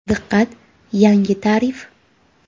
Diqqat, yangi tarif!.